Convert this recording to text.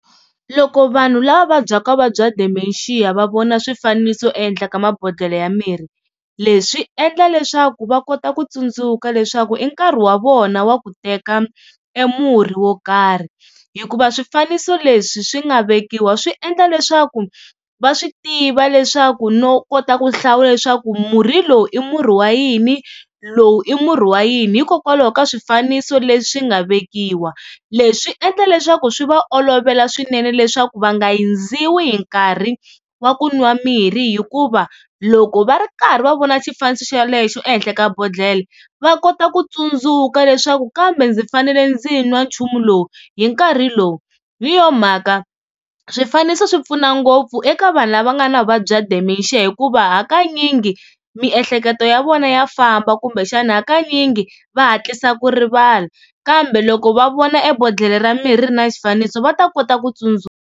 Loko vanhu lava vabyaka vuvabyi bya Dementia va vona swifaniso ehenhla ka mabodhlela ya mirhi, leswi swi endla leswaku va kota ku tsundzuka leswaku i nkarhi wa vona wa ku teka e murhi wo karhi. Hikuva swifaniso leswi swi nga vekiwa swi endla leswaku va swi tiva leswaku no kota ku hlawula leswaku murhi lowu i murhi wa yini, lowu i murhi wa yini hikokwalaho ka swifaniso leswi nga vekiwa. Leswi swi endla leswaku swi va olovela swinene leswaku va nga hundziwi hi nkarhi wa ku nwa mirhi hikuva loko va ri karhi va vona xifaniso xelexo ehenhla ka bodhlele va kota ku tsundzuka leswaku kambe ndzi fanele ndzi nwa nchumu lowu hi nkarhi lowu. Hi yo mhaka swifaniso swi pfuna ngopfu eka vanhu lava nga na vuvabyi bya Dementia, hikuva hakanyingi miehleketo ya vona ya famba kumbexana hakanyingi va hatlisa ku rivala kambe loko va vona ebodhlele ra mirhi ri ri na xifaniso va ta kota ku tsundzuka.